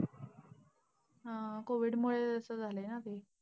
हा COVID मुळे असं झालंय ना ते.